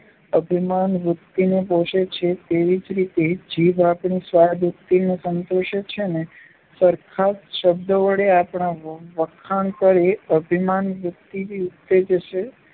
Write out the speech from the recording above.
અભિમાનવૃત્તિને પોષે છે તેવી જ રીતે જીભ આપણી સ્વાદવૃત્તિને સંતોષે છે સરસ શબ્દો વડે આપણાં વખાણ કરી અભિમાનવૃત્તિને ઉત્તેજે છે.